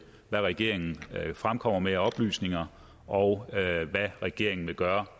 hvad regeringen fremkommer med af oplysninger og hvad regeringen vil gøre